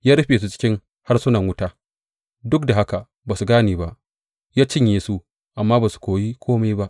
Ya rufe su cikin harsunan wuta, duk da haka ba su gane ba; ya cinye su, amma ba su koyi kome ba.